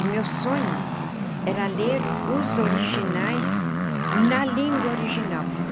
E meu sonho era ler os originais na língua original.